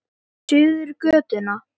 Ég hafði það af.